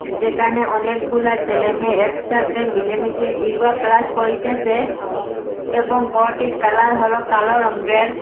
যেকানে অনেকগুলা চেলে মেয়ে একসাথে মিলেমিশে ইয়োগা ক্লাস করিতেসে এবং গরটির কালার হলো কালো রঙের।